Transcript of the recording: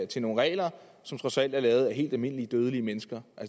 til nogle regler som trods alt er lavet af helt almindelige dødelige mennesker